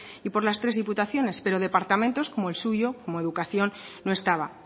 y por las tres diputaciones pero departamentos como el suyo como educación no estaba